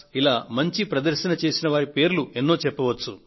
ఇలా మంచి ప్రదర్శన చేసిన వారి పేర్లు మరెన్నో ప్రస్తావించవచ్చు